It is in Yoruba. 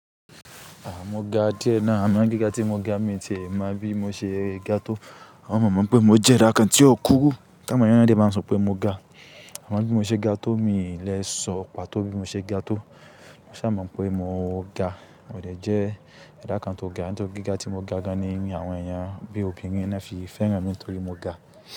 À, mo ga díẹ̀ ná. Àmọ́n gíga tí mo ga mi ti lè máa bí mo ṣe ga tó. Àwọn mọ̀ ọ́n mọ̀ pé mo jẹ́ ra kan tí ó kúrú tá àwon èyàn dẹ̀ máa ń sọ pé mo ga. A mọ bí mo ṣe ga tó, mi lè sọ pàtó bí mo ṣe ga tó. Mo sa máa mọ̀ pé mo ga, mo dẹ̀ jẹ́ ẹ̀dá kan tó ga. Nítorí gíga tí mo ga gan ni àwọn èèyàn bí obìnrin ni wón fi fẹ́ràn mi nítorí mo ga.